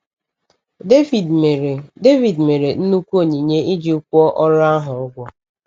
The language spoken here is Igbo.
Devid mere Devid mere nnukwu onyinye iji kwụọ ọrụ ahụ ụgwọ.